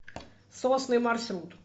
сосны маршрут